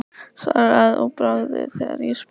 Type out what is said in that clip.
Svaraði að bragði þegar ég spurði.